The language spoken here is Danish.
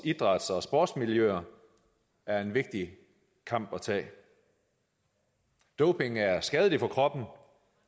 idræts og sportsmiljøerne er en vigtig kamp at tage doping er skadeligt for kroppen